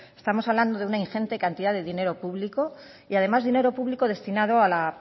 estamos hablando de una ingente cantidad de dinero público y además dinero público destinado a la